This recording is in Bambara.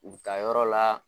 U bi taa yɔrɔ la